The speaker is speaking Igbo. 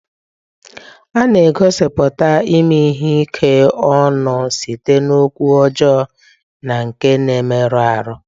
A na-egosipụta ime ihe ike ọnụ site n'okwu ọjọọ na nke na-emerụ ahụ.